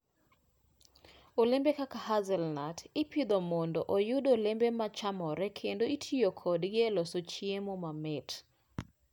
Olembe kaka hazelnuts ipidho mondo oyud olembe ma chamore kendo itiyo kodgi e loso chiemo mamit.